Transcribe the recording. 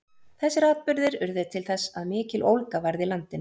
þessir atburðir urðu til þess að mikill ólga varð í landinu